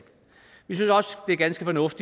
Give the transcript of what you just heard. økonomisk